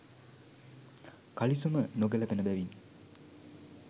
කලිසම නොගැළපෙන බැවිනි.